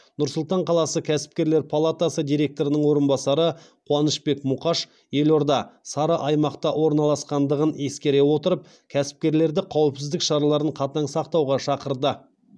нұр сұлтан қаласы кәсіпкерлер палатасы директорының орынбасары қуанышбек мұқаш елорда сары аймақта орналасқандығын ескере отырып кәсіпкерлерді қауіпсіздік шараларын қатаң сақтауға шақырды